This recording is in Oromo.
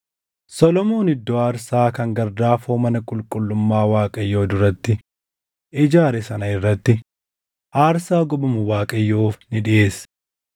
Solomoon iddoo aarsaa kan gardaafoo mana qulqullummaa Waaqayyoo duratti ijaare sana irratti aarsaa gubamu Waaqayyoof ni dhiʼeesse;